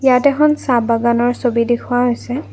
ইয়াত এখন চাহ বাগানৰ ছবি দেখুওৱা হৈছে।